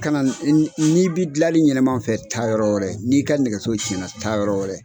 Kana n'i bɛ gilanli ɲɛnama fɛ taa yɔrɔ wɛrɛ, n'i ka nɛgɛso cɛnna taa yɔrɔ wɛrɛ.